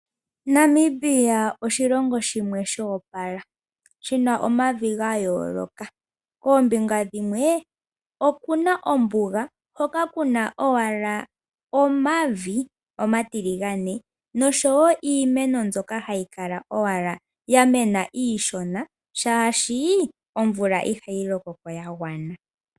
Namibia oshilongo shimwe sha opala shina omavi ga yooloka. Koombinga dhimwe okuna oombuga, hoka kuna owala omavi omatiligane noshowo iimeno mbyoka hayi kala owala ya mena iishona, shaashi omvula ihayi loko ko ya gwana.